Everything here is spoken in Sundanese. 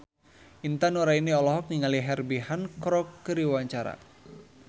Intan Nuraini olohok ningali Herbie Hancock keur diwawancara